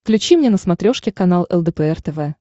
включи мне на смотрешке канал лдпр тв